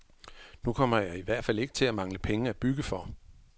Nu kommer jeg i hvert fald ikke til at mangle penge at bygge for.